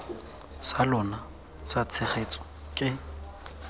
sa lona sa tshegetso ke